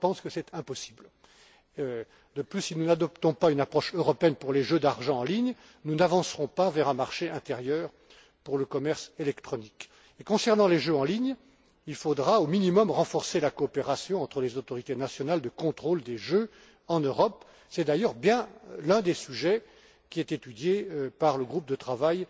Je pense que c'est impossible. De plus, si nous n'adoptons pas une approche européenne pour les jeux d'argent en ligne, nous n'avancerons pas vers un marché intérieur pour le commerce électronique. Et, concernant les jeux en ligne, il faudra, au minimum, renforcer la coopération entre les autorités nationales de contrôle des jeux en Europe. C'est d'ailleurs bien l'un des sujets qui est étudié par le groupe de